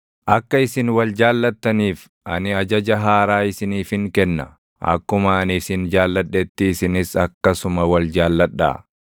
“Akka isin wal jaallattaniif ani ajaja haaraa isiniifin kenna. Akkuma ani isin jaalladhetti isinis akkasuma wal jaalladhaa.